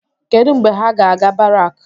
Kedụ mgbe ha ga-aga barak?